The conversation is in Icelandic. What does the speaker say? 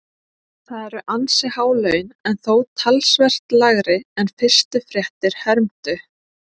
Það eru ansi há laun en þó talsvert lægri en fyrstu fréttir hermdu.